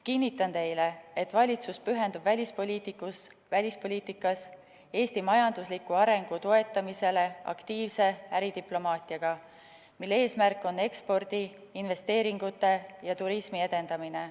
Kinnitan teile, et valitsus pühendub välispoliitikas Eesti majandusliku arengu toetamisele aktiivse äridiplomaatiaga, mille eesmärk on ekspordi, investeeringute ja turismi edendamine.